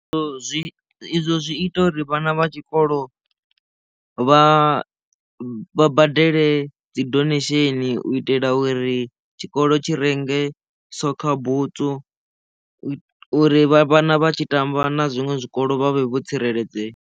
Zwi izwo zwi ita uri vhana vha tshikolo vha badele dzi donation u itela uri tshikolo tshi renge sokha butswu u itela uri vhana vha tshi tamba na zwiṅwe zwikolo vha vhe vho tsireledzea.